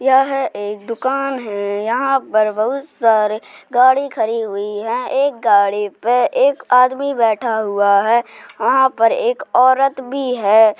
यह एक दुकान है। यहाँ पर बहुत सारी गाड़ी खड़ी हुई है एक गाड़ी पे एक आदमी बैठा हुआ है वहां पर एक औरत भी है।